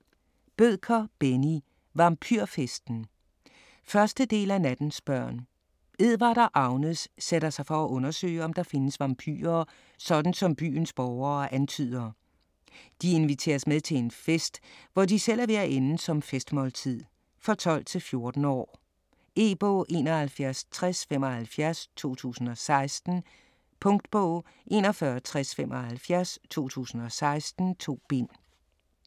Bødker, Benni: Vampyrfesten 1. del af Nattens børn. Edvard og Agnes sætter sig for at undersøge, om der findes vampyrer, sådan som byens borgere antyder. De inviteres med til en fest, hvor de selv er ved at ende som festmåltid. For 12-14 år. E-bog 716075 2016. Punktbog 416075 2016. 2 bind.